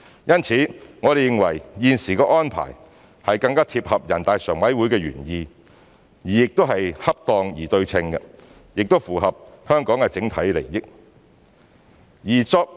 因此，我們認為現時的安排是更貼合人大常委會的原意，是恰當而對稱，亦符合香港的整體利益。